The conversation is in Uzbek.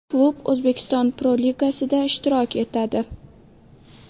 Klub O‘zbekiston Pro-Ligasida ishtirok etadi.